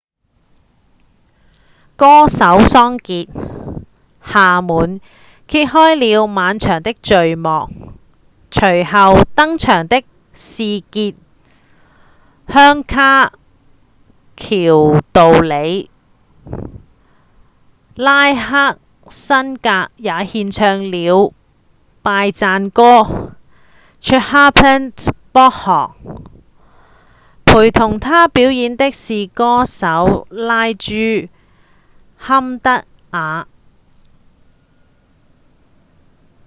歌手桑傑‧夏滿揭開了晚場的序幕隨後登場的是傑‧香卡‧喬杜理拉克‧辛格也獻唱了拜讚歌 chhappan bhog 陪同他表演的是歌手拉朱‧坎德瓦